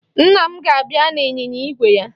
Nna m ga-abịa n'ịnyịnya igwe ya